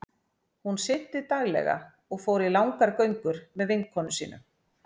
Hún synti daglega og fór í langar göngur með vinkonum sínum.